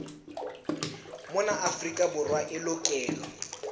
mona afrika borwa e lokelwa